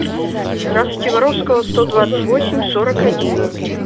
здравствуйте воровского сто двадцать восемь сорок один